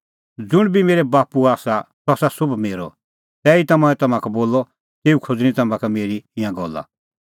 ज़ुंण बी मेरै बाप्पूओ आसा सह आसा सोभ मेरअ तैहीता मंऐं तम्हां का बोलअ तेऊ खोज़णीं तम्हां का मेरी ई गल्ला का